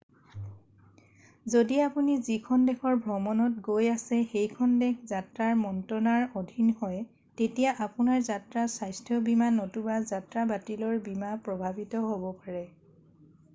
যদি আপুনি যিখন দেশৰ ভ্ৰমণত গৈ আছে সেইখন দেশ যাত্ৰা মন্ত্ৰনাৰ অধীন হয় তেতিয়া আপোনাৰ যাত্ৰা স্বাস্থ্য বীমা নতুবা যাত্ৰা বাতিলৰ বীমা প্ৰভাৱিত হব পাৰে